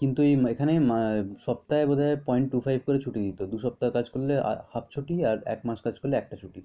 কিন্তু এখানে ম~ সপ্তাহে বোধ হয় point two five করে ছুটি দিত। দুই সপ্তাহ কাজ করলে half ছুটি আর এক মাস কাজ করলে একটা ছুটি।